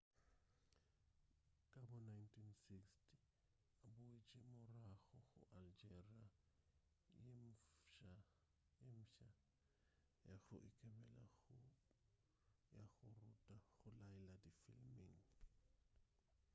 ka bo 1960 o boetše morago go algeria ye mfsa ya go ikemela go ya go ruta go laela difiliming